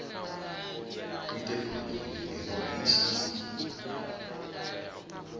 ite phurofiti ngeno i tshi